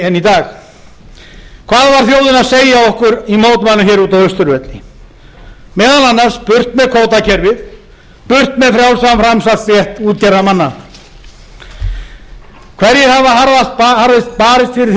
en í dag hvað var þjóðin að segja okkur í mótmælum hér úti á austurvelli meðal annars burt með kvótakerfið burt með kvótakerfið og frjálsan framsalsrétt útgerðarmanna hverjir hafa